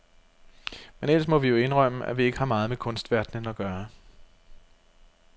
Men ellers må vi jo indrømme, at vi ikke har meget med kunstverdenen at gøre.